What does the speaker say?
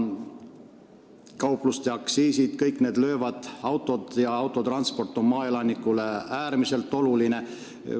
Ka aktsiisitõusud löövad: autod ja transport on maaelanikule äärmiselt olulised.